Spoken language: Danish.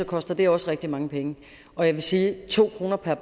koster det også rigtig mange penge og jeg vil sige at to kroner per